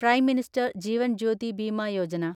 prime minister Jeevan Jyoti Bima Yojana